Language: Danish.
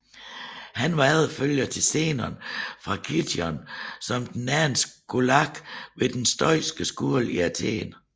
Han var efterfølger til Zenon fra Kition som den anden skolark ved den stoiske skole i Athen